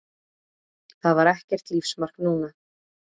Það var ekkert lífsmark núna.